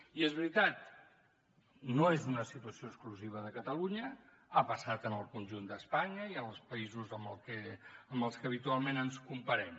i és veritat no és una situació exclusiva de catalunya ha passat en el conjunt d’espanya i en els països amb els que habitualment ens comparem